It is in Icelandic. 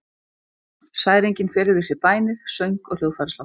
Særingin felur í sér bænir, söng og hljóðfæraslátt.